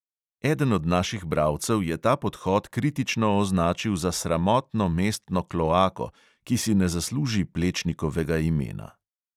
Eden od naših bralcev je ta podhod kritično označil za sramotno mestno kloako, ki si ne zasluži plečnikovega imena.